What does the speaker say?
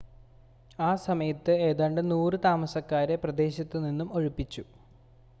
ആ സമയത്ത് ഏതാണ്ട് 100 താമസക്കാരെ പ്രദേശത്ത് നിന്നും ഒഴിപ്പിച്ചു